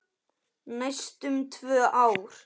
Næstum tvö ár!